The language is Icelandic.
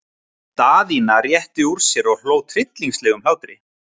Daðína rétti úr sér og hló tryllingslegum hlátri.